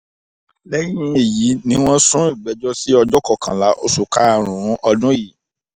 lẹ́yìn èyí ni wọ́n sún ìgbẹ́jọ́ sí ọjọ́ kọkànlá oṣù karùn-ún ọdún yìí